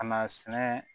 Ka na sɛnɛ